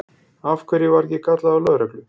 Af hverju var ekki kallað til lögreglu?